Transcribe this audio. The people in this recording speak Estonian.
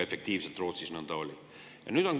See Rootsis nõnda ka oli.